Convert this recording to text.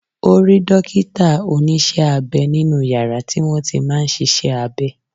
Ó rí dókítà- Onísé-abẹ nínú yàrá tí wọ́n ti máa ń sisé abe